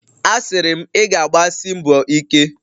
A siri m, ị ga-agbasi mbọ ike!